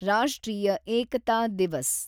ರಾಷ್ಟ್ರೀಯ ಏಕತಾ ದಿವಸ್